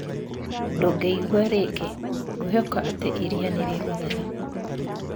Ndũngĩigua rĩngĩ, ngwĩhoka atĩ iria nĩ regũthera?